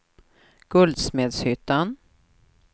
Guldsmedshyttan